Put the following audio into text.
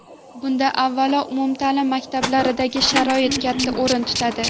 Bunda, avvalo, umumta’lim maktablaridagi sharoit katta o‘rin tutadi.